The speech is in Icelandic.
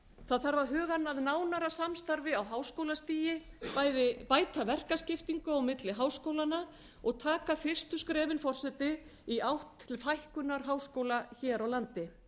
það þarf að huga að nánara samstarfi á háskólastigi bæði bæta verkaskiptingu og milli háskólanna og taka fyrstu skrefin forseti í átt til fækkunar háskóla hér á landi